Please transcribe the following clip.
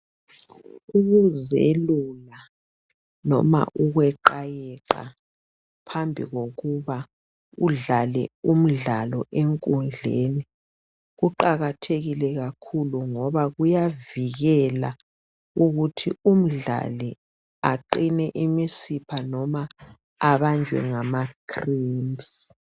Ukuzelula noma ukweqayeqa phambi kokuba udlale umdlalo enkundleni kuqakathekile kakhulu ngoba kuyavikela ukuthi umdlali aqine imisipha noma abanjwe ngama cramps.